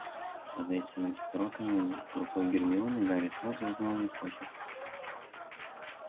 под этими строками рукой гермионы гарри сразу узнал её почерк